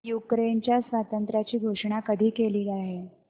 युक्रेनच्या स्वातंत्र्याची घोषणा कधी केली गेली